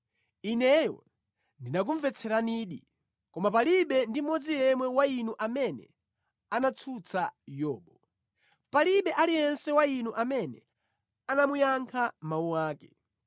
ineyo ndinakumvetseranidi. Koma palibe ndi mmodzi yemwe wa inu amene anatsutsa Yobu; palibe aliyense wa inu amene anamuyankha mawu ake.